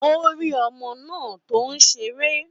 Ó rí ọmọ náà tó ń ṣeré.